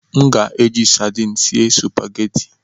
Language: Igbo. M ga-eji sardin sie sụpaghetị.